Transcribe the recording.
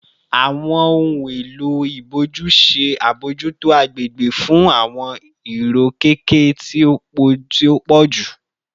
Awọn ohun elo iboju ṣe abojuto agbegbe fun awọn irokeke ti o pọju